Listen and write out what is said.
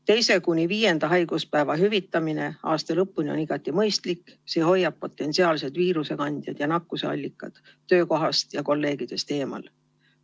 2.–5. haiguspäeva hüvitamine aasta lõpuni on igati mõistlik, see hoiab potentsiaalsed viirusekandjad ja nakkusallikad töökohast ja kolleegidest eemal.